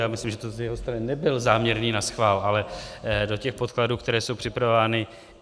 Já myslím, že to z jeho strany nebyl záměrný naschvál, ale do těch podkladů, které jsou připravovány.